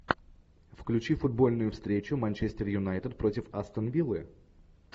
включи футбольную встречу манчестер юнайтед против астон виллы